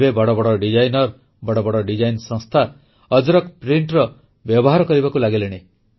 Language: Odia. ଏବେ ବଡ଼ ବଡ଼ ଡିଜାଇନର ବଡ଼ ବଡ଼ ଡିଜାଇନ ସଂସ୍ଥା ଅଜରକ୍ ପ୍ରିଣ୍ଟର ବ୍ୟବହାର କରିବାକୁ ଲାଗିଲେଣି